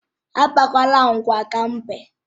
Akpakwala agwa ka mbe!